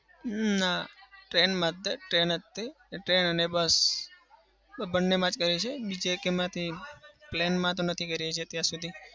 ના. train માં જ તે. train તે train અને bus બંનેમાં જ કરી છે. બીજા એકેયમાં નથી કરી. plane માં તો નથી કરી હજી અત્યાર સુધી.